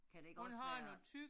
Kan det ikke også være